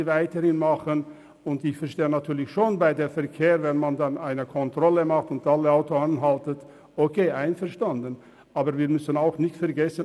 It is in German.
Ich verstehe schon, dass es nicht einfach ist, wenn man eine Verkehrskontrolle durchführt und alle Autos anhält und so weiter.